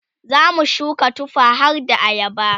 zamu shuka tufa harda ayaba